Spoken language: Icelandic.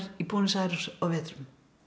í Buenos Aires á vetrum